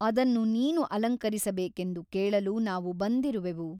ಅದನ್ನು ನೀನು ಅಲಂಕರಿಸಬೇಕೆಂದು ಕೇಳಲು ನಾವು ಬಂದಿರುವೆವು.